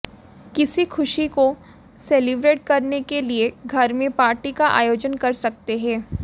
किसी खुशी को सेलिब्रेट करने के लिए घर में पार्टी का आयोजन कर सकते हैं